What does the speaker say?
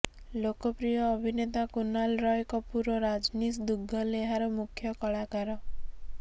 ଲୋକପ୍ରିୟ ଅଭିନେତା କୁନାଲ୍ ରୟ କପୁର୍ ଓ ରଜନୀଶ ଦୁଗ୍ଗଲ ଏହାର ମୁଖ୍ୟ କଳାକାର